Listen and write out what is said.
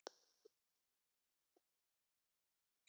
Snót